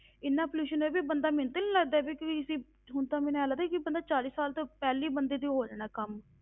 ਇੰਨਾ pollution ਹੋਇਆ ਵੀ ਬੰਦਾ ਮੈਨੂੰ ਤੇ ਨੀ ਲੱਗਦਾ ਵੀ ਕੋਈ ਇਹ, ਹੁਣ ਤਾਂ ਮੈਨੂੰ ਇਉਂ ਲੱਗਦਾ ਕਿ ਬੰਦਾ ਚਾਲੀ ਸਾਲ ਤੋਂ ਪਹਿਲੇ ਹੀ ਬੰਦੇ ਦੇ ਹੋ ਜਾਣਾ ਕੰਮ।